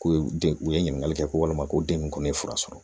K'u ye den u ye ɲininkali kɛ ko walima ko den ninnu ye fura sɔrɔ